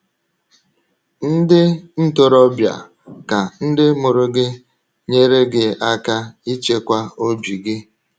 Ndị ntorobịa, ka ndị mụrụ gị nyere gị aka ichekwa obi gị!